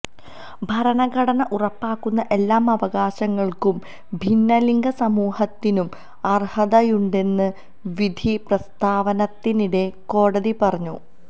ഭരണഘടന ഉറപ്പാക്കുന്ന എല്ലാ അവകാശങ്ങള്ക്കും ഭിന്നലിംഗ സമൂഹത്തിനും അര്ഹതയുണ്ടെന്ന് വിധി പ്രസ്ഥാവത്തിനിടെ കോടതി പറഞ്ഞു